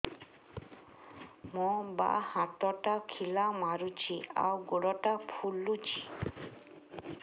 ମୋ ବାଆଁ ହାତଟା ଖିଲା ମାରୁଚି ଆଉ ଗୁଡ଼ ଟା ଫୁଲୁଚି